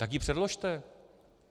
Tak ji předložte.